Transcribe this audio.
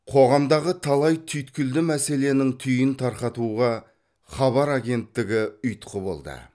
қоғамдағы талай түйткілді мәселенің түйінін тарқатуға хабар агенттігі ұйытқы болды